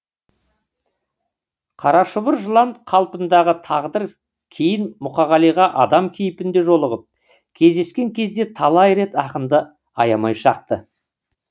қарашұбар жылан қалпындағы тағдыр кейін мұқағалиға адам кейпінде жолығып кездескен кезде талай рет ақынды аямай шақты